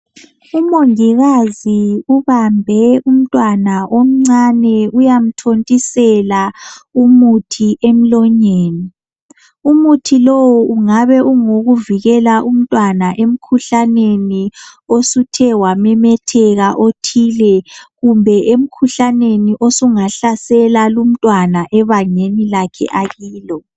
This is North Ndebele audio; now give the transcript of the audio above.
Umongikazi ubambe umntwana omncane uyamthontisela umuthi emlonyeni. Umuthi lowu ungabe ungowokuvikela umntwana emkhuhlaneni osuthe wamemetheka othile. Kumbe emkhuhlaneni osungahlasela lumntwana ebangeni lakhe akilo.